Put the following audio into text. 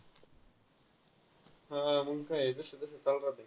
हा, अजून काय आहे, तसं तसं चालू राहतंय.